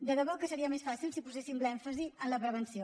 de debò que seria més fàcil si poséssim l’èmfasi en la prevenció